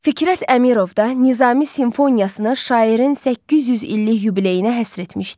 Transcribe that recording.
Fikrət Əmirov da Nizami simfoniyasını şairin 800 illik yubileyinə həsr etmişdi.